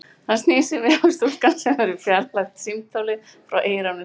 Hann snýr sér við, og stúlkan, sem hefur fjarlægt símtólið frá eyranu, spyr